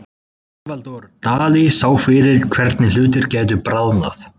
Salvador Dali sá fyrir hvernig hlutir gætu bráðnað.